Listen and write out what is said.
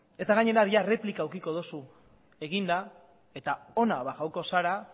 eta gainera bihar erreplika edukiko duzu eginda eta hona bajako zara